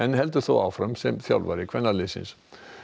heldur þó áfram sem þjálfari kvennalandsliðsins